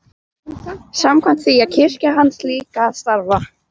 Samkvæmt því á kirkja hans líka að starfa.